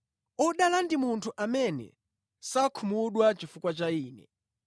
Odala ndi munthu amene sakhumudwa chifukwa cha Ine.”